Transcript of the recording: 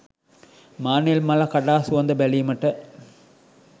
මානෙල් මල කඩා සුවඳ බැලීමට